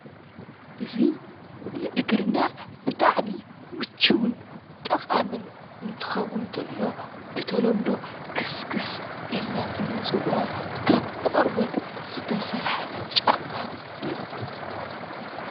እዚ ንእግርና ብጣዕሚ ምችውን ጠቓምን እንትኸውን እንተሎ ብተለምዶ ከስክስ ኢልና ንፅውዖ ካብ ቆርበት ዝተሰርሐ ጫማ እዩ።